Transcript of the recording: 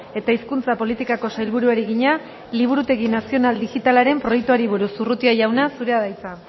eta hizkuntza politikako sailburuari egina liburutegi nazional digitalaren proiektuari buruz urrutia jauna zurea da hitza